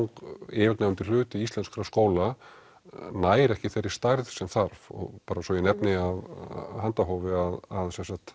yfirgnæfandi hluti íslenskra skóla nær ekki þeirri stærð sem þarf bara svo ég nefni af handahófi að